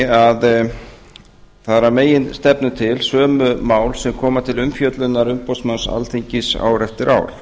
að það eru að meginstefnu til sömu mál sem koma til umfjöllunar umboðsmanns alþingis ár eftir ár